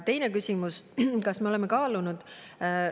Teine küsimus, kas me oleme kaalunud.